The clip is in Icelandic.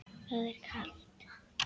Það var kalt.